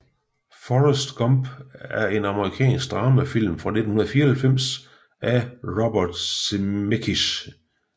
Forrest Gump er en amerikansk dramafilm fra 1994 af Robert Zemeckis